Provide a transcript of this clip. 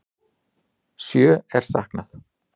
Sjö er saknað.